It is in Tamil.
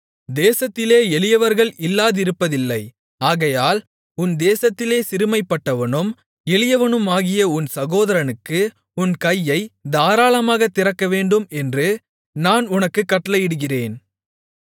தேசத்திலே எளியவர்கள் இல்லாதிருப்பதில்லை ஆகையால் உன் தேசத்திலே சிறுமைப்பட்டவனும் எளியவனுமாகிய உன் சகோதரனுக்கு உன் கையைத் தாராளமாகத் திறக்கவேண்டும் என்று நான் உனக்குக் கட்டளையிடுகிறேன்